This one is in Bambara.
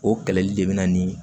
O kɛlɛli de bɛ na ni